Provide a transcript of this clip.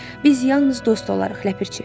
Biz yalnız dost olarıq, ləpirçi.